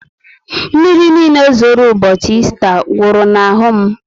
Mmírí niile zoro ụbọchị Ésta gwuru na ahụ m